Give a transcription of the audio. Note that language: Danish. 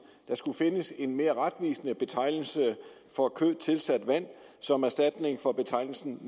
der skulle findes en mere retvisende betegnelse for kød tilsat vand som erstatning for betegnelsen